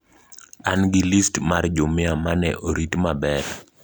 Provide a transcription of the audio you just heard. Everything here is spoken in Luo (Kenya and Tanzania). An gi list mar jumia ma ne orit maber.